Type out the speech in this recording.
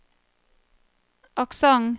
aksent